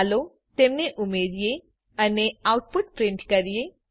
ચાલો તેમને ઉમેરીએ અને આઉટપુટ પ્રિન્ટ કરીએ